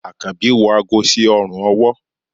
akanbi wọ àgó sí òrùn ọwọ